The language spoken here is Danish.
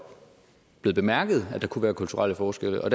blevet bemærket at der kunne være kulturelle forskelle og